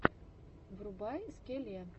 врубай скеле